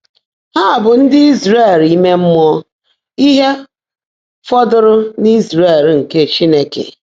Há bụ́ ndị́ Ị́zràẹ̀l íme mmụọ́, íhe fọ́dụ́rụ́ ‘n’Ị́zràẹ̀l nkè Chínekè.’